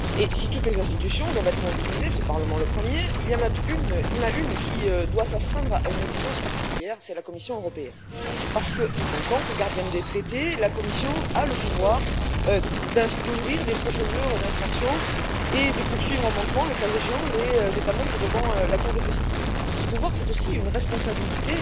Si toutes les institutions doivent être mobilisées ce Parlement, le premier il y en a une qui doit s'astreindre à une exigence particulière, c'est la Commission européenne, parce qu'en tant que gardienne des traités, elle a le pouvoir d'ouvrir des procédures d'infraction et de poursuivre en manquement, le cas échéant, les États membres devant la Cour de justice. Ce pouvoir est aussi une responsabilité